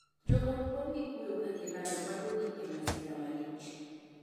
Joot pong' gi kuyo ka gilalo mwandugi e masira malich.